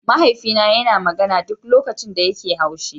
Mahaifina yana magana duk lokacin da yake haushi.